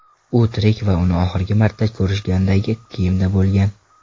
U tirik va uni oxirgi marta ko‘rishgandagi kiyimda bo‘lgan.